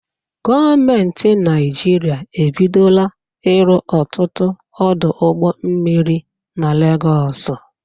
Gọọmenti Naijiria ebidola ịrụ ọtụtụ ọdụ ụgbọ mmiri na Legọọsụ.